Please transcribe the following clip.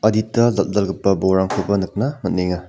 adita dal·dalgipa bolrangkoba nikna man·enga.